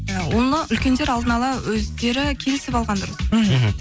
ы оны үлкендер алдына ала өздері келісіп алған дұрыс мхм